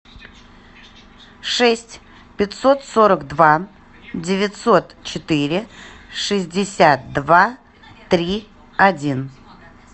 шесть пятьсот сорок два девятьсот четыре шестьдесят два три один